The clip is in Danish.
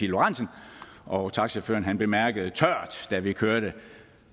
lorentzen og taxachaufføren bemærkede tørt da vi kørte